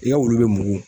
I ka wulu bɛ mugu